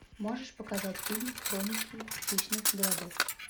можешь показать фильм хроники хищных городов